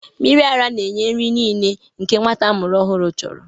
Mmiri ara na-enye nri niile nke nwa amụrụ ọhụrụ chọrọ.